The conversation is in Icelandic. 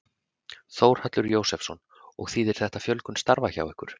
Þórhallur Jósefsson: Og þýðir þetta fjölgun starfa hjá ykkur?